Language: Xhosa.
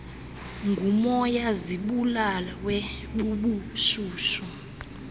ngumoya zibulawe bubushushu